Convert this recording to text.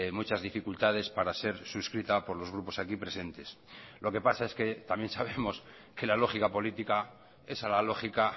muchas dificultades para ser suscrita por los grupos aquí presentes lo que pasa es que también sabemos que la lógica política es a la lógica